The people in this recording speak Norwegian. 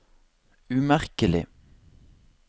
umerkelig